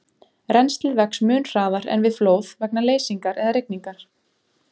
Rennslið vex mun hraðar en við flóð vegna leysingar eða rigningar.